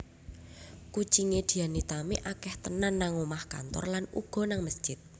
Kucing e Dian Nitami akeh tenan nang omah kantor lan uga nang mesjid